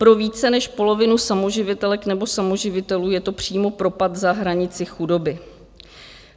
Pro více než polovinu samoživitelek nebo samoživitelů je to přímo propad za hranici chudoby.